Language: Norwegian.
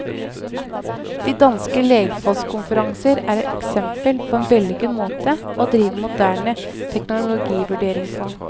De danske legfolkskonferanser er et eksempel på en vellykket måte å drive moderne teknologivurdering på.